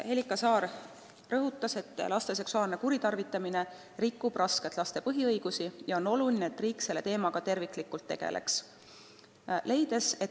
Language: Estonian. Ta rõhutas, et laste seksuaalne kuritarvitamine rikub rängalt laste põhiõigusi ja on oluline, et riik selle teemaga terviklikult tegeleks.